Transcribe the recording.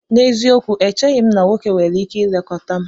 N'eziokwu! Echeghị m na nwoke nwere ike ilekọta m